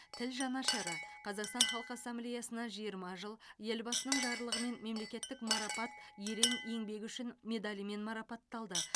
тіл жанашыры қазақстан халқы ассамблиясына жиырма жыл елбасының жарлығымен мемлекеттік марапат ерен еңбегі үшін медалімен марапатталды